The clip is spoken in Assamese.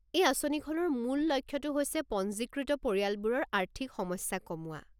এই আঁচনিখনৰ মূল লক্ষ্যটো হৈছে পঞ্জীকৃত পৰিয়ালবোৰৰ আৰ্থিক সমস্যা কমোৱা।